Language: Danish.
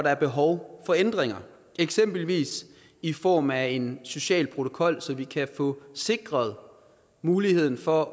er behov for ændringer eksempelvis i form af en social protokol så vi kan få sikret muligheden for